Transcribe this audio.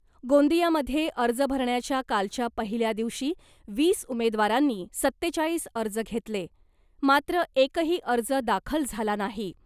गोंदियामध्ये अर्ज भरण्याच्या कालच्या पहिल्या दिवशी वीस उमेदवारांनी सत्तेचाळीस अर्ज घेतले, मात्र एकही अर्ज दाखल झाला नाही .